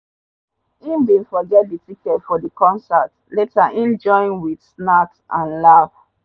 him bin forget the ticket for the concert later him joins with snacks and laugh.